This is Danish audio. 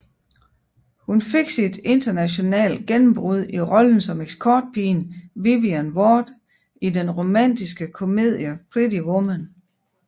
Hun fik sit internationale gennembrud i rollen som escortpigen Vivian Ward i den romantiske komedie Pretty Woman